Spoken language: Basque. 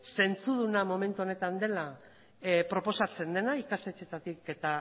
zentzuduna momentu honetan dela proposatzen dena ikastetxeetatik eta